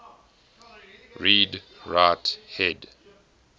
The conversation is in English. read write head